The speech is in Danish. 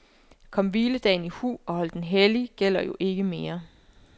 Kom hviledagen i hu, og hold den hellig gælder jo ikke mere.